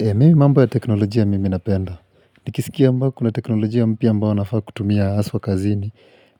Mimi mambo ya teknolojia mimi napenda. Nikisikia ambako kuna teknolojia mpya ambayo nafaa kutumia haswa kazini.